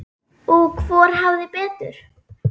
Og hvor hafði betur.